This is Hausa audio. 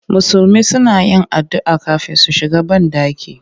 Musulmi suna yin addu'a kafin su shiga banɗaki